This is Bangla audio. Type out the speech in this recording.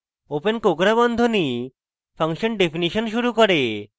open কোঁকড়া বন্ধনী function definition শুরু করে